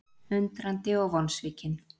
Undrandi og vonsvikinn